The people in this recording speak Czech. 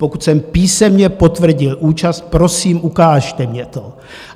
Pokud jsem písemně potvrdil účast, prosím, ukažte mně to.